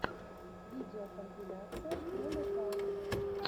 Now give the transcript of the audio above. видеокомпиляция промопалт